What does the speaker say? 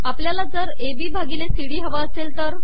आपलयाला जर A B भािगले सी डी हवे असेल तर